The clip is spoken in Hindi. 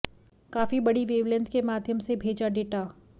काफी बड़ी वेवलेंथ के माध्यम से भेजा डेटा